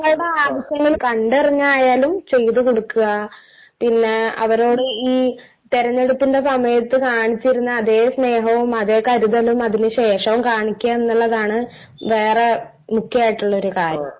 അതെ ജനങ്ങളുടെ ആവശ്യങ്ങൾ കണ്ടറിഞ്ഞായാലും ചെയ്തു കൊടുക്കുക. പിന്നെ അവരോട് ഈ തിരഞ്ഞെടുപ്പിന്റെ സമയത്തു കാണിച്ചിരുന്ന അതേ സ്നേഹവും അതേ കരുതലും അതിന് ശേഷവും കാണിക്കുക എന്നുള്ളതാണ് വേറെ മുഖ്യമായിട്ടുള്ള ഒരു കാര്യം.